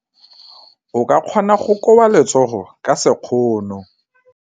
O ka kgona go koba letsogo ka sekgono.